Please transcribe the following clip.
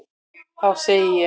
Þá segði ég: